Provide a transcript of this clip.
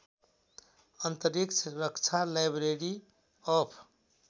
अन्तरिक्ष रक्षालाइब्रेरी अफ